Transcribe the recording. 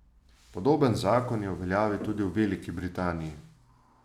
Podoben zakon je v veljavi tudi v Veliki Britaniji.